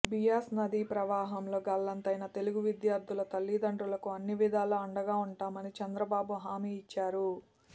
బియాస్ నదీ ప్రవాహంలో గల్లంతయిన తెలుగు విద్యార్థుల తల్లిదండ్రులకు అన్నివిధాలా అండగా ఉంటామని చంద్రబాబు హామీ ఇచ్చారు